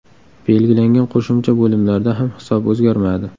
Belgilangan qo‘shimcha bo‘limlarda ham hisob o‘zgarmadi.